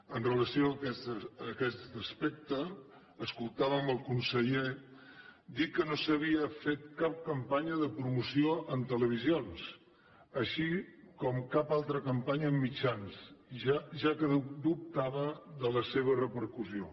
amb relació a aquest aspecte escoltàvem el conseller dir que no s’havia fet cap campanya de promoció en televisions així com cap altra campanya en mitjans ja que dubtava de la seva repercussió